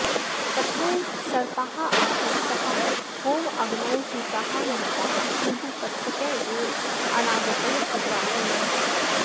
तथैव सर्पाः आकृष्टाः होमाग्नौ हुताः मृताः किन्तु तक्षकः एव अनागतः कुत्रापि न दृष्टः